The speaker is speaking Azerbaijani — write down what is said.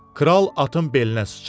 Kral atın belinə sıçradı.